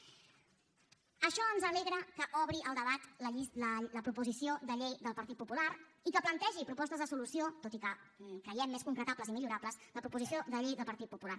per això ens alegra que obri el debat la proposició de llei del partit popular i que plantegi propostes de solució tot i que creiem més concretables i millorables la proposició de llei del partit popular